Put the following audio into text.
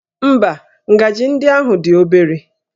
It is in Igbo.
Ḿbá, ngaji ndị ahụ dị obere